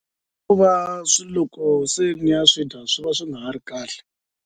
I ku va swilo loko se mi ya swi dya swi va swi nga ha ri kahle.